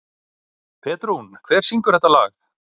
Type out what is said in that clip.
Petrún, hver syngur þetta lag?